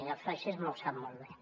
i el feixisme ho sap molt bé